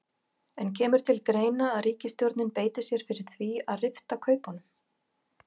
En kemur til greina að ríkisstjórnin beiti sér fyrir því að rifta kaupunum?